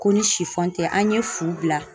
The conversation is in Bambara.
Ko ni tɛ an ye fu bila